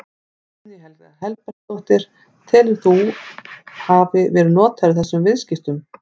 Guðný Helga Herbertsdóttir: Telurðu að þú hafi verið notaður í þessum viðskiptum?